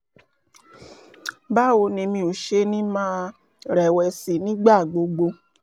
báwo ni mi ò ṣe ní máa rẹ̀wẹ̀sì nígbà gbogbo?